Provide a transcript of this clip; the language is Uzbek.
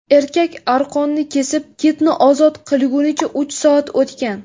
Erkak arqonni kesib, kitni ozod qilgunicha uch soat o‘tgan.